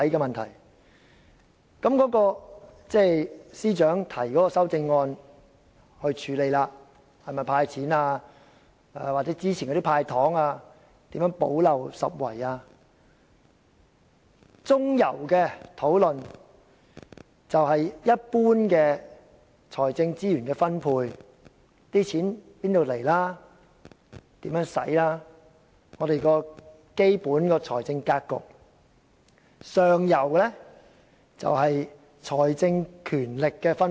現時司長已提出修正案，提出"補漏拾遺"的"派錢"方案；中游的討論，是有關一般財政資源的分配，例如錢從何來、如何運用，這是我們的基本財政格局；上游則關乎財政權力的分配。